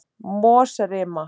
Mosarima